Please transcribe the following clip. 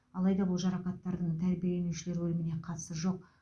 алайда бұл жарақаттардың тәрбиеленушілер өліміне қатысы жоқ